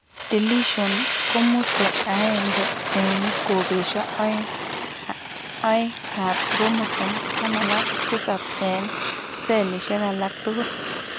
Deletion komusee aeng'e eng' kopisiek oeng' ab chromosome 17 eng' cellisiek alaktugul